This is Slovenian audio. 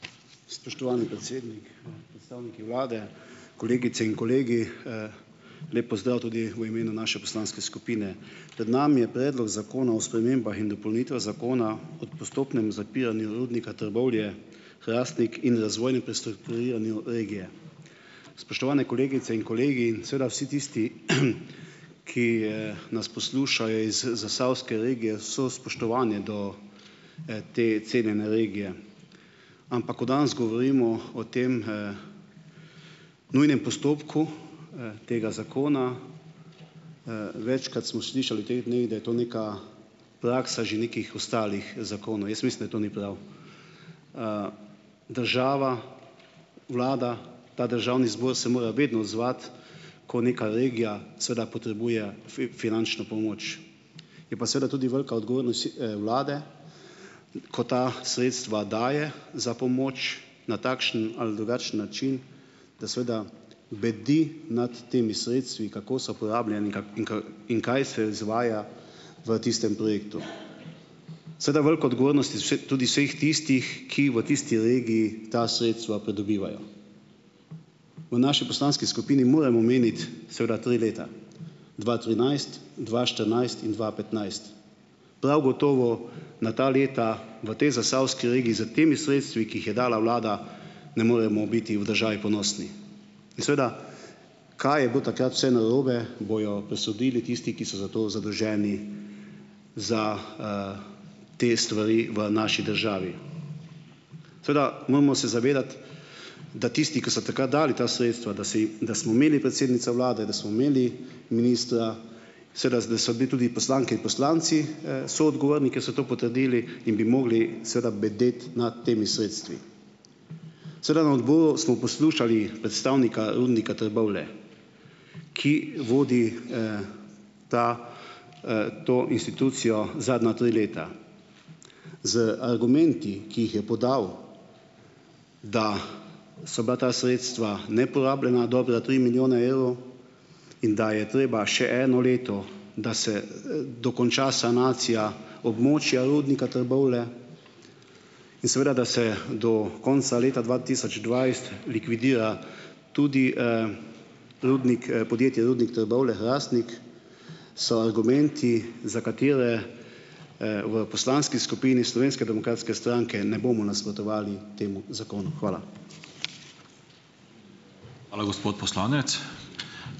Spoštovani predsednik, predstavniki vlade, kolegice in kolegi, lep pozdrav tudi v imenu naše poslanske skupine! Pred nami je Predlog zakona o spremembah in dopolnitvah zakona o postopnem zapiranju rudnika Trbovlje- Hrastnik in razvojnem prestrukturiranju regije. Spoštovane kolegice in kolegi in seveda vsi tisti, ki, nas poslušajo iz zasavske regije, vse spoštovanje do, te cenjene regije, ampak ko danes govorimo o tem, nujnem postopku, tega zakona, večkrat smo slišali v teh dneh, da je to neka praksa že nekih ostalih zakonov. Jaz mislim, da to ni prav. Država, vlada, ta državni zbor se mora vedno odzvati, ko nekaj regija seveda potrebuje finančno pomoč. Je pa seveda tudi velika odgovornost, vlade, ko ta sredstva daje za pomoč na takšen ali drugačen način, da seveda bedi nad temi sredstvi, kako so porabljena in in in kaj se izvaja v tistem projektu. Seveda velika odgovornost iz us tudi vseh tistih, ki v tisti regiji ta sredstva pridobivajo. V naši poslanski skupini moram omeniti seveda tri leta, dva trinajst, dva štirinajst in dva petnajst. Prav gotovo na ta leta v tej zasavski regiji s temi sredstvi, ki jih je dala vlada, ne moremo biti v državi ponosni. In seveda, kaj je bilo takrat vse narobe, bojo presodili tisti, ki so za to zadolženi, za, te stvari v naši državi. Seveda, moramo se zavedati, da tisti, ki so takrat dali ta sredstva, da si da smo imeli predsednico vlade, da smo imeli ministra, seveda zdaj so bili tudi poslanke in poslanci, soodgovorni, ko so to potrdili in bi mogli seveda bedeti nad temi sredstvi. Seveda, na odboru smo poslušali predstavnika rudnika Trbovlje, ki vodi, ta, to institucijo zadnja tri leta. Z argumenti, ki jih je podal, da so bila ta sredstva neporabljena, dobra tri milijone evrov, in da je treba še eno leto, da se, dokonča sanacija območja rudnika Trbovlje, in seveda, da se do konca leta dva tisoč dvajset likvidira tudi, rudnik, podjetje Rudnik Trbovlje-Hrastnik, so argumenti, za katere, v poslanski skupini Slovenske demokratske stranke ne bomo nasprotovali temu zakonu. Hvala.